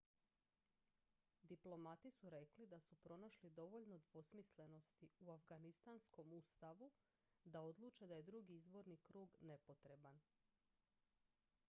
diplomati su rekli da su pronašli dovoljno dvosmislenosti u afganistanskom ustavu da odluče da je drugi izborni krug nepotreban